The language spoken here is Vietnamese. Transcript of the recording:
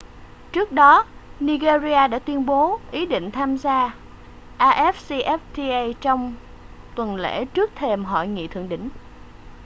trước đó nigeria đã tuyên bố ý định tham gia afcfta trong tuần lễ trước thềm hội nghị thượng đỉnh